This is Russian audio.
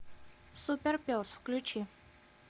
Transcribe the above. супер пес включи